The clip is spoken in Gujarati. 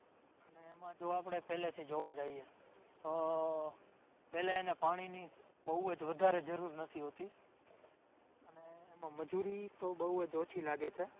એમાં જો આપણે પેલેથી જોવા જાઈએ તો પેલે એને પાણીની બોવ જ વધારે જરૂર નથી હોતી અને એમાં મજૂરી તો બોવ જ ઓછી લાગે છે